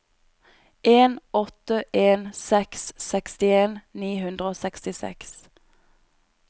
en åtte en seks sekstien ni hundre og sekstiseks